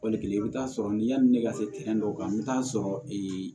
Wali kelen i bɛ t'a sɔrɔ ni yanni ne ka se dɔw kan i bɛ taa sɔrɔ ee